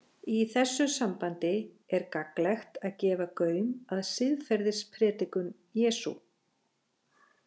Í þessu sambandi er gagnlegt að gefa gaum að siðferðispredikun Jesú.